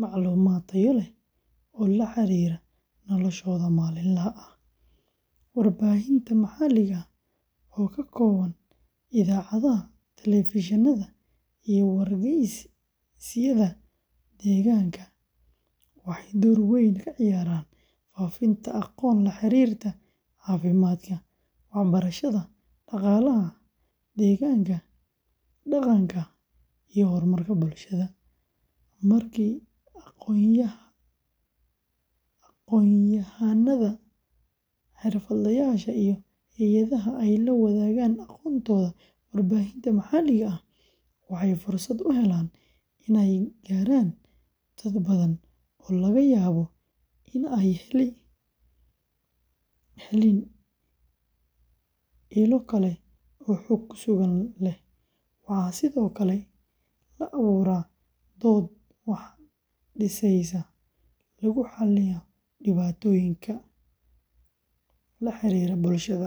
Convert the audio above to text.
macluumaad tayo leh oo la xiriira noloshooda maalinlaha ah. Warbaahinta maxalliga ah oo ka kooban idaacadaha, telefishinada, iyo wargeysyada deegaanka, waxay door weyn ka ciyaaraan faafinta aqoon la xiriirta caafimaadka, waxbarashada, dhaqaalaha, deegaanka, dhaqanka, iyo horumarka bulshada. Markii aqoonyahannada, xirfadlayaasha, iyo hay’adaha ay la wadaagaan aqoontooda warbaahinta maxalliga ah, waxay fursad u helaan inay gaaraan dad badan oo laga yaabo in aanay helin ilo kale oo xog sugan leh. Waxaa sidoo kale la abuuraa dood wax dhisaysa, lagu xalliyo dhibaatooyin la xiriira bulshada.